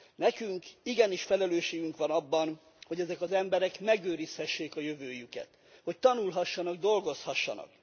Nekünk igenis felelősségünk van abban, hogy ezek az emberek megőrizhessék a jövőjüket, hogy tanulhassanak, dolgozhassanak.